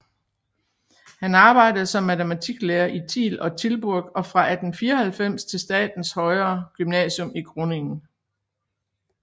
Han arbejdede som matematiklærer i Tiel og Tilburg og fra 1894 til statens højere gymnasium i Groningen